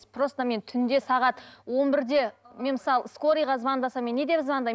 просто мен түнде сағат он бірде мен мысалы скорыйға звондасам мен не деп звондаймын